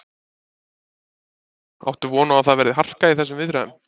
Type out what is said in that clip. Ásgeir Erlendsson: Áttu von á að það verði harka í þessum viðræðum?